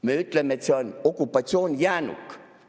Me ütleme, et see on okupatsioonijäänuk.